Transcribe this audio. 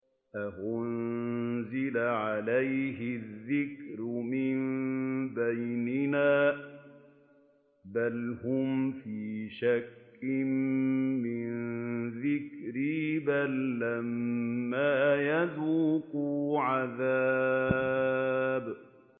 أَأُنزِلَ عَلَيْهِ الذِّكْرُ مِن بَيْنِنَا ۚ بَلْ هُمْ فِي شَكٍّ مِّن ذِكْرِي ۖ بَل لَّمَّا يَذُوقُوا عَذَابِ